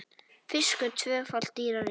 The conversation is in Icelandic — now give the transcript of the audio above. Fiskur tvöfalt dýrari